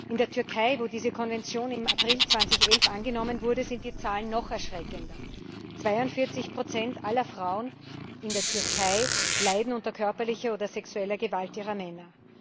In der Türkei, wo diese Konvention im April 2011 angenommen wurde, sind die Zahlen noch erschreckender 42 aller Frauen in der Türkei leiden unter körperlicher oder sexueller Gewalt ihrer Männer.